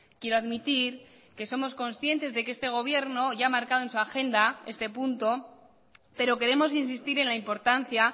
quiero admitir que somos conscientes de que este gobierno ya ha marcado en su agenda este punto pero queremos insistir en la importancia